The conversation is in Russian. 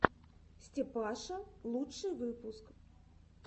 степаша лучший выпуск